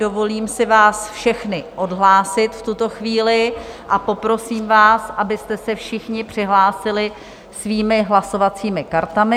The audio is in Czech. Dovolím si vás všechny odhlásit v tuto chvíli a poprosím vás, abyste se všichni přihlásili svými hlasovacími kartami.